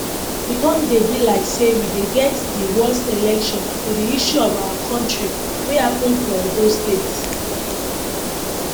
e con dey be like say we dey get di worst election for di history of our kontri wey happun for edo state